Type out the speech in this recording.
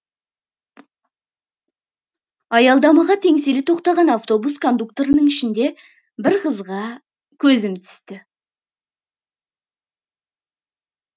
аялдамаға теңселе тоқтаған автобус кондукторының ішінде бір қызға көзім түсті